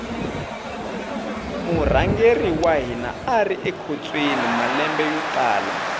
murhangeri wa hina ari ekhotsweni malembe yo tala